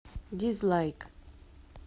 дизлайк